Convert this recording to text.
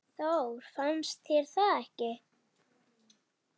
Þór, finnst þér það ekki?